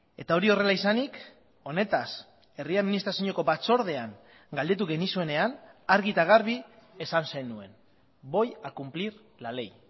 eta hori horrela izanik honetaz herri administrazioko batzordean galdetu genizuenean argi eta garbi esan zenuen voy a cumplir la ley